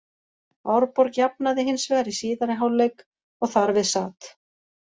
Árborg jafnaði hins vegar í síðari hálfleik og þar við sat.